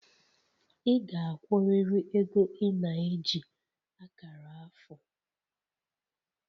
Ị ga-akwụrịrị ego ị na-eji akara afọ!